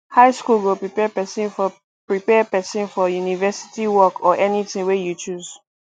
high school go prepare pesin for prepare pesin for university work or anything wey you choose